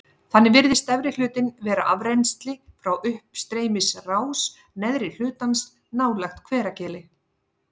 Þannig virðist efri hlutinn vera afrennsli frá uppstreymisrás neðri hlutans nálægt Hveragili.